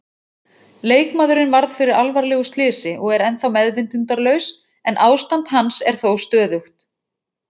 Leikmaðurinn varð fyrir alvarlegu slysi og er ennþá meðvitundarlaus en ástand hans er þó stöðugt.